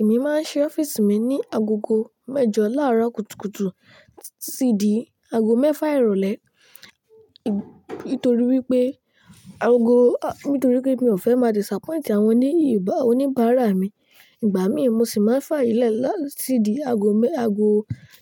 Èmi máa ń ṣí ọ́fíìsì mi ní agogo mẹ́jọ láàárọ̀ kùtùkùtù sí ìdí agogo mẹ́fà ìrọ̀lẹ́. Nítorí wípé agogo a-- nítorí pé mi ò fẹ́ máa disappoint àwọn oní —ìbá— oníbara mi. Ìgbà míì mo sì máa ń fà yè lẹ̀ lá —tí ìdí ago mẹ́, ago